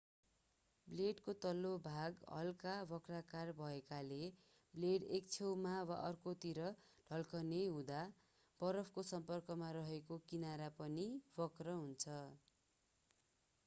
ब्लेडको तल्लो भाग हल्का वक्राकार भएकाले ब्लेड एक छेउमा वा अर्कोतिर ढल्किने हुँदा बरफको सम्पर्कमा रेहेको किनरा पनि वक्र हुन्छ